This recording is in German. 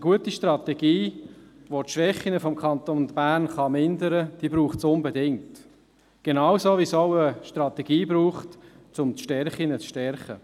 Eine gute Strategie, die die Schwächen des Kantons Bern vermindern kann, braucht es unbedingt, genauso wie es eine Strategie braucht, um die Stärken zu stärken.